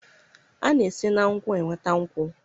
a na-esi na nkwụ enweta nkwụ